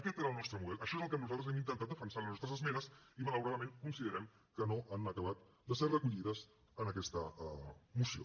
aquest era el nostre model això és el que nosaltres hem intentat defensar a les nostres esmenes i malauradament considerem que no han acabat de ser recollides en aquesta moció